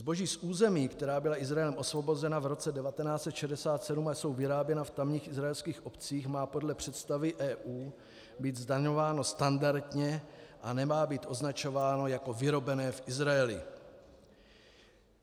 Zboží z území, která byla Izraelem osvobozena v roce 1967, a je vyráběno v tamních izraelských obcích, má podle představy EU být zdaňováno standardně a nemá být označováno jako vyrobené v Izraeli.